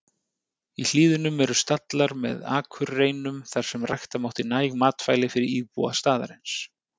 Í hlíðunum eru stallar með akurreinum þar sem rækta mátti næg matvæli fyrir íbúa staðarins.